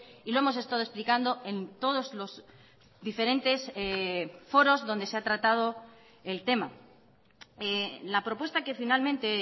y lo hemos estado explicando en todos los diferentes foros donde se ha tratado el tema la propuesta que finalmente